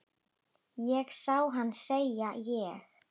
Ég sá hana, segi ég.